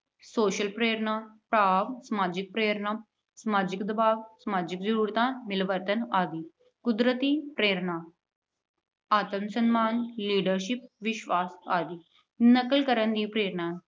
social ਪ੍ਰੇਰਨਾ ਭਾਵ ਸਮਾਜਿਕ ਪ੍ਰੇਰਨਾ- ਸਮਾਜਿਕ ਦਬਾਵ, ਸਮਾਜਿਕ ਜਰੂਰਤਾਂ, ਮਿਲਵਰਤਨ ਆਦਿ। ਕੁਦਰਤੀ ਪ੍ਰੇਰਨਾ- ਆਤਮ-ਸਨਮਾਨ, leadership ਵਿਸ਼ਵਾਸ ਆਦਿ। ਨਕਲ ਕਰਨ ਦੀ ਪ੍ਰੇਰਨਾ